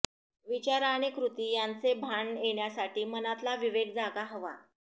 विचार आणि कृती यांचे भान येण्यासाठी मनातला विवेक जागा हवा